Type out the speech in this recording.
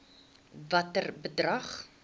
watter bedrag